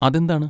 അതെന്താണ്?